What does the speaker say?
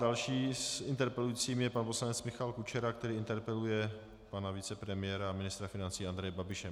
Dalším interpelujícím je pan poslanec Michal Kučera, který interpeluje pana vicepremiéra a ministra financí Andreje Babiše.